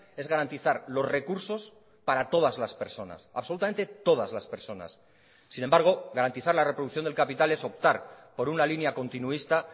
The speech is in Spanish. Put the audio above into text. es garantizar los recursos para todas las personas absolutamente todas las personas sin embargo garantizar la reproducción del capital es optar por una línea continuista